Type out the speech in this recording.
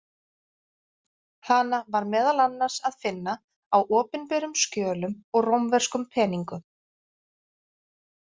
Hana var meðal annars að finna á opinberum skjölum og rómverskum peningum.